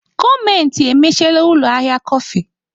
Gọọmenti emechiela ụlọ ahịa kọfị.